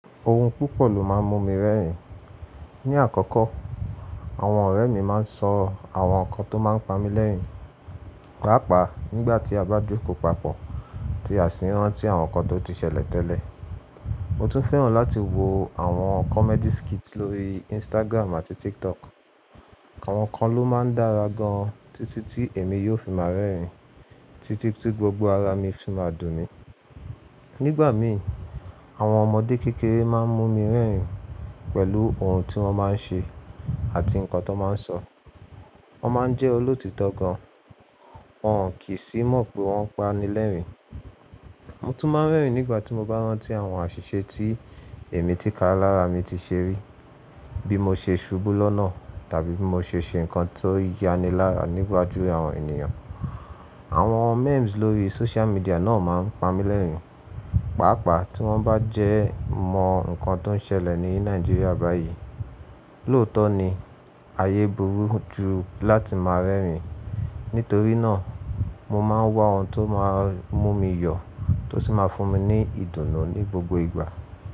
Ohun púpọ̀ ló máa ń mú mi rẹ́rìn. Ni àkọ́kọ́, àwọn ọ̀rẹ́ mi máa ń sọ àwọn nǹkan tó máa ń pa mí lẹ́rìn, pàápàá nígbà tí a bá jókòó papọ̀ tí a sì rán tí àwọn nǹkan tó ti ṣẹlẹ̀ tẹ́lẹ̀. Mo tún fẹ́ràn láti wo àwọn comedy skit lórí Instagram àti TikTok. Àwọn kan ló máa ń dára gan-an títí tí èmi yóò fi máa rẹ́rìn títí tí gbogbo ara mi fi máa dùn mí. Nígbà mii, àwọn ọmọdé kékeré máa ń mú mi rẹ́rìn pẹ̀lú ohun tí wọ́n máa ń ṣe àti nǹkan tón máa ń sọ. Wọ́n máa ń jẹ́ olótítọ́ gan, wọ́n kí sì mọ̀ pé wọ́n ń pani lẹ́rìn. Mo tún máa ń rẹ́rìn nígbà tí mo bá rántí àwọn àṣìṣe tí èmi tìká lára mi ti ṣe rí, bí mo ṣe ṣubú lọ́nà tàbí bí mo ṣe ṣe nǹkan tó yanilára níwaju àwọn ènìyàn. Àwọn memes lórí social media náà máa ń pa mí lẹ́rìn, pàápàá tí wọ́n bá jẹmọ nǹkan tó n ṣẹlẹ̀ ní Nàìjíríà báyìí. Lóòótọ́ ni, ayé burú ju láti máa rẹ́rìn. Nítorí náà, mo máa ń wá ohun tó máa ń mú mi yọ tó sì máa fún mi ní ìdùnnú ní gbogbo ìgbà.